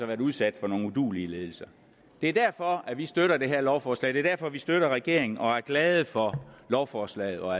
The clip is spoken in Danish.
været udsat for nogle uduelige ledelser det er derfor at vi støtter det her lovforslag det er derfor at vi støtter regeringen og er glade for lovforslaget og